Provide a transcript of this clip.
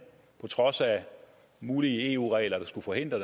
på trods af mulige eu regler der skulle forhindre